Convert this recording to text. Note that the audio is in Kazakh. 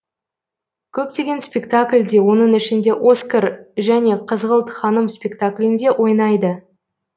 көптеген спектакльде оның ішінде оскар және қызғылт ханым спектаклінде ойнайды